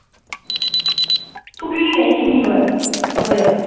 ਤੂੰ ਗਿਣੀ ਜਾਈਂ ਕਿੰਨੀ ਵਾਰ ਹੋਇਆ